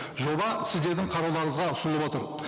жоба сіздердің қарауларыңызға ұсынылып отыр